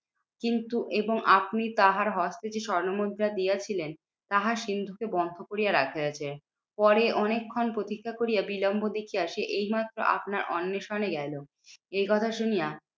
কিন্তু এবং আপনি তাহার হস্তে যে স্বর্ণমুদ্রা দিয়েছিলেন তাহা সিন্দুকে বন্ধ করিয়া রাখিয়াছে। পরে অনেক্ষন প্রতীক্ষা করিয়া বিলম্ব দেখিয়া সে এইমাত্র আপনার অন্নেষণে গেলো। এই কথা শুনিয়া